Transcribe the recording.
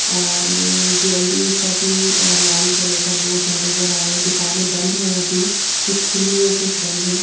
और ये ज्वेलरी का भी लाल कलर का बोर्ड नजर आ रहा है दुकानें बंद हैंअभी कुछ खुली हैकुछ बंद हैं।